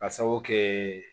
Ka sabu kɛ